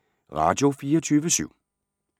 Radio24syv